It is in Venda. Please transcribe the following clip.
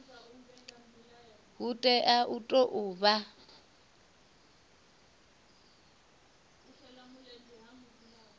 hu tea u tou vha